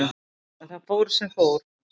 En það fór sem fór.